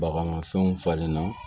Bagan fɛnw falen na